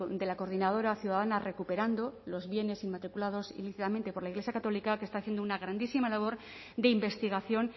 de la coordinadora ciudadana recuperando los bienes inmatriculados indebidamente por la iglesia católica que está haciendo una grandísima labor de investigación